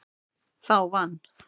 Það vann